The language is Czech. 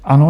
Ano.